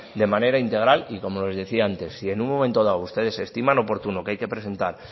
de manera integral y como les decía antes si en un momento dado ustedes estiman oportuno que hay que presentar